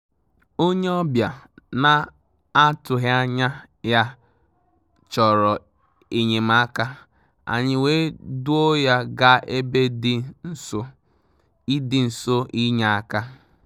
Ónyé ọ́bị̀à nà-àtụ́ghị́ ányà yá chọ̀rọ̀ é nyé màká, ànyị́ wèé dùò yá gàà ébè dì nsó ì dì nsó ì nyé áká.